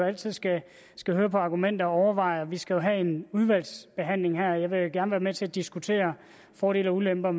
altid skal skal høre argumenter og overveje dem vi skal have en udvalgsbehandling her og jeg vil gerne være med til at diskutere fordele og ulemper